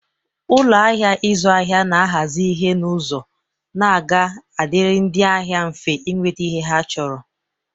Ụlọ ahịa ịzụ ahịa na-ahazi ihe n'ụzọ na ọ ga-adịrị ndị ahịa mfe inweta ihe ha chọrọ.